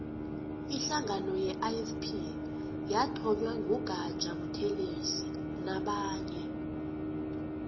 ihlangano ye ifp yathonywa ngu gaja buthelezi nabanye